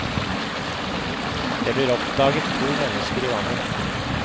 Det blir oppdaget to mennesker i vannet.